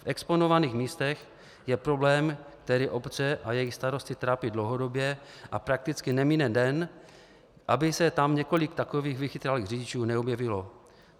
V exponovaných místech je problém, který obce a jejich starosty trápí dlouhodobě, a prakticky nemine den, aby se tam několik takových vychytralých řidičů neobjevilo.